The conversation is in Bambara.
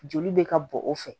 Joli bɛ ka bɔn o fɛ